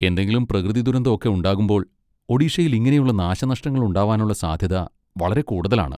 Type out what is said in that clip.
എന്തെങ്കിലും പ്രകൃതിദുരന്തം ഒക്കെ ഉണ്ടാകുമ്പോൾ ഒഡീഷയിൽ ഇങ്ങനെയുള്ള നാശനഷ്ടങ്ങൾ ഉണ്ടാവാനുള്ള സാധ്യത വളരെ കൂടുതലാണ്.